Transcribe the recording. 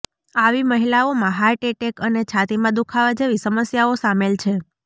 આવી મહિલાઓમાં heart attack અને છાતીમાં દુખાવા જેવી સમસ્યાઓ સામેલ છે